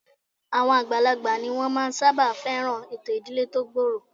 Àwọn àgbàlagbà ni wọ́n máa ń sábà fẹ́ràn ètò ìdílé tó gbòòrò